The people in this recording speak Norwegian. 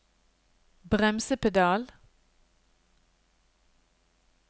bremsepedal